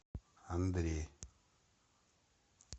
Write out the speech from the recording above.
андрей